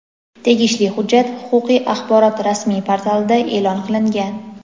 Tegishli hujjat huquqiy axborot rasmiy portalida e’lon qilingan.